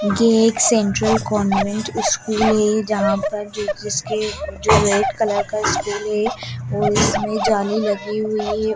ये एक central government school है जहां पर जो रेड कलर का स्टूल है और उसमें जाली लगी हुई है।